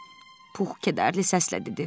Puh kədərli səslə dedi.